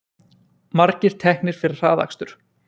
Margir teknir fyrir hraðakstur